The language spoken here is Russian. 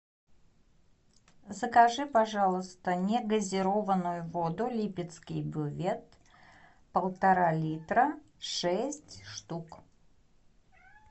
закажи пожалуйста негазированную воду липецкий бювет полтора литра шесть штук